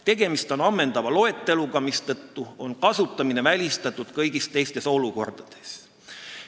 " Tegemist on ammendava loeteluga, mistõttu on kasutamine välistatud kõigis teistes olukordades.